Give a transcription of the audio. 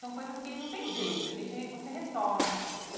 São coisas que não tem jeito, a gente você retoma.